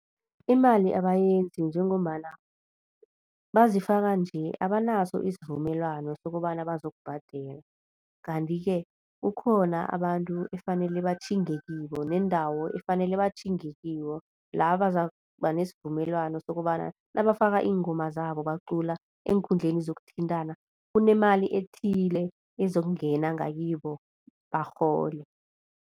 Imali abayenzi njengombana bazifaka nje abanaso isivumelwano sokobana bazokubhadela, kanti-ke kukhona abantu efanele batjhinge kibo nendawo efanele batjhinge kiyo la bazakuba nesivumelwano sokobana nabafaka iingoma zabo bacula eenkhundleni zokuthintana kunemali ethile ezokungena ngakibo barhole.